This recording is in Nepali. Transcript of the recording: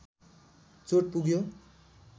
चोट पुग्यो